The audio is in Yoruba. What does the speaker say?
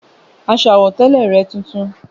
Aṣọ àwọ̀tẹ́lẹ̀ rẹ̀ tuntun